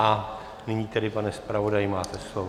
A nyní tedy, pane zpravodaji, máte slovo.